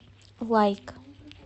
лайк